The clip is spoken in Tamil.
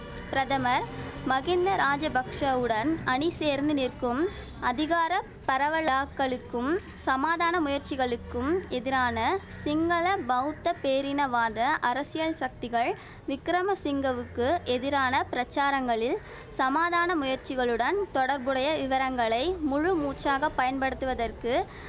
பிரதமர் மகிந்த ராஜபக்ஷவுடன் அணி சேர்ந்து நிற்கும் அதிகார பரவலாக்கலுக்கும் சமாதான முயற்சிகளுக்கும் எதிரான சிங்கள பௌத்த பேரினவாத அரசியல் சக்திகள் விக்கிரமசிங்கவுக்கு எதிரான பிரசாரங்களில் சமாதான முயற்சிகளுடன் தொடர்புடைய விவரங்களை முழு மூச்சாகப் பயன்படுத்துவதற்கு